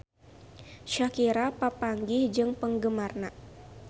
Shakira papanggih jeung penggemarna